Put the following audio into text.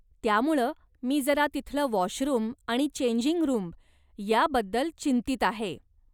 त्यामुळं मी जरा तिथलं वाॅशरूम आणि चेंजिंग रूम याबद्दल चिंतित आहे.